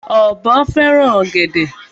Ọ̀bọ fẹ́ràn ọ̀gẹ̀dè.